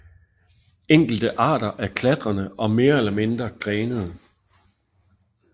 Enkelte arter er klatrende og mere eller mindre grenede